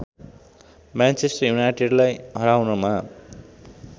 Manchester युनाइटेडलाई हराउनमा